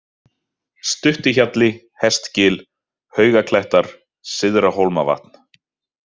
Stuttihjalli, Hestgil, Haugaklettar, Syðra-Hólmavatn